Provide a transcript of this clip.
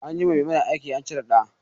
Anyi wa Maimuna aki an cire ɗa